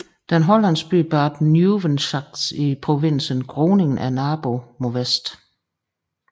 Den hollandske by Bad Nieuweschans i provinsen Groningen er naboen mod vest